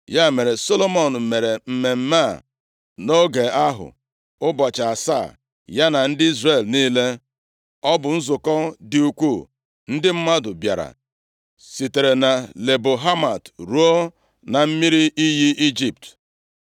Ya mere, Solomọn mere mmemme a nʼoge ahụ, ụbọchị asaa, ya na ndị Izrel niile. Ọ bụ nzukọ dị ukwuu. Ndị mmadụ bịara sitere na Lebo Hamat ruo na mmiri iyi Ijipt.